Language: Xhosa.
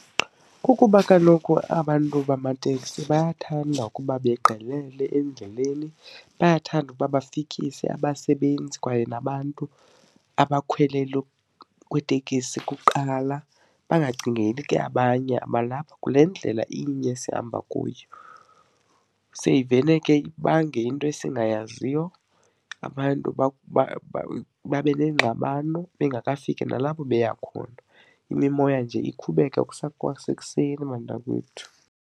Kukuba kaloku abantu bamateksi bayathanda ukuba begqelele endleleni, bayathanda ukuba bafikise abasebenzi kwaye nabantu abakhwele loo kwitekisi kuqala, bangacingeli ke abanye abalapha kule ndlela inye sihamba kuyo. Seyivele ke ibange into esingazaziyo, abantu babe neengxabano bengakafiki nalabo beya khona, imimoya nje ikhubeke kusekwasekuseni bantakwethu.